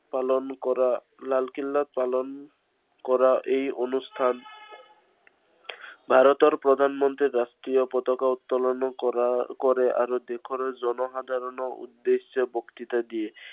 পালন কৰা, লালকিল্লাত পালন, কৰা এই অনুষ্ঠান ভাৰতৰ প্ৰধানমন্ত্ৰীয়ে ৰাষ্ট্ৰীয় পতাকা উত্তোলনো কৰে আৰু দেশৰ জনসাধাৰণৰ উদ্দেশ্যে বক্তৃতা দিয়ে।